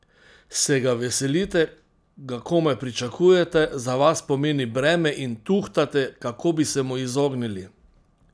Se ga veselite, ga komaj pričakujete, za vas pomeni breme in tuhtate, kako bi se mu izognili?